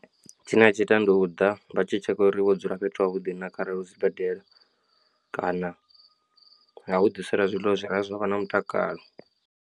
Tshine a tshi ita ndi u ḓa vha tshi tshekha uri wo dzula fhethu havhuḓi na kharali hu sibadela kana vha nga u ḓisela zwiḽiwa zwi re zwa vha na mutakalo.